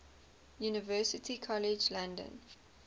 university college london